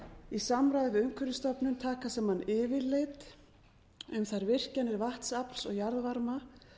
í samráði við umhverfisstofnun taka yfirlit um þær virkjarnir vatnsafls og jarðvarma